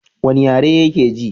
wani yare yake ji?